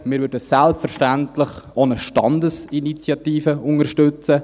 Wir würden selbstverständlich auch eine Standesinitiative unterstützen.